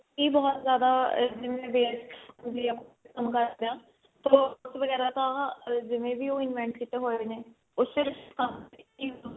ਬਹੁਤ ਜਿਆਦਾ ਜਿਵੇਂ ਵੀ ਆਪਾਂ ਕੰਮ ਕਰਦੇ ਹਾਂ ਉਹ robots ਵਗੇਰਾ ਤਾਂ ਜਿਵੇਂ ਵੀ ਉਹ invent ਕਿਤੇ ਹੋਏ ਨੇ ਉਸ